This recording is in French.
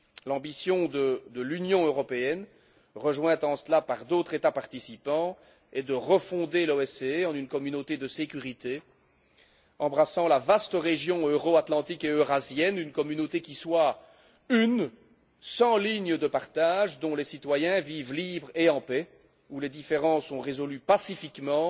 L'ambition de l'Union européenne, rejointe en cela par d'autres États participants, est de refonder l'OSCE en une communauté de sécurité embrassant la vaste région euro atlantique et eurasienne, une communauté qui soit une, sans ligne de partage, dont les citoyens vivent libres et en paix, où les différends sont résolus pacifiquement